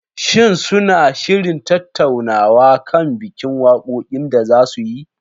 Shin suna shirin tattaunawa kan bikin wakokin da za su yi?